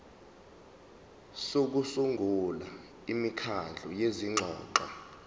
sokusungula imikhandlu yezingxoxo